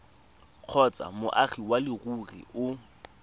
kgotsa moagi wa leruri o